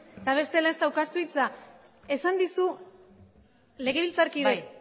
eta bestela ez daukazu hitza esan dizu legebiltzarkideak